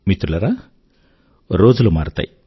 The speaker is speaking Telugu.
మిత్రులారా రోజులు మారతాయి